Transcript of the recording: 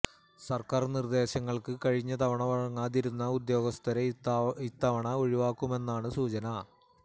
സര്ക്കാര് നിര്ദ്ദേശങ്ങള്ക്ക് കഴിഞ്ഞ തവണ വഴങ്ങാതിരുന്ന ഉദ്യോഗസ്ഥരെ ഇത്തവണ ഒഴിവാക്കിയെന്നാണ് സൂചന